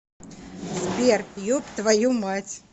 сбер еб твою мать